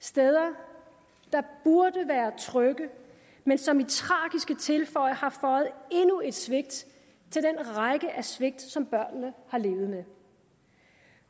steder der burde være trygge men som i tragiske tilfælde har føjet endnu et svigt til den række af svigt som børnene har levet med